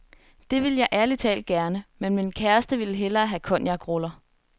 Det ville jeg ærligt talt gerne, men min kæreste vil hellere have cognacruller.